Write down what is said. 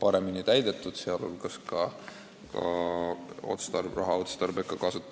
paremini täidetud, raha kasutatakse otstarbekamalt.